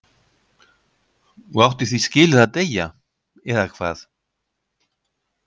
Og átti því skilið að deyja, eða hvað?